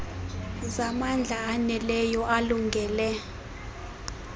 zamandla aneleyo alungele